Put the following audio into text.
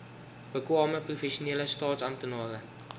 bekwame professionele staatsamptenare